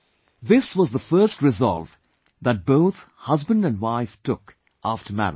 This was the first resolve that both husband and wife took after marriage